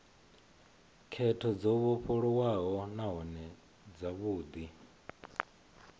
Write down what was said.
khetho dzo vhofholowaho nahone dzavhudi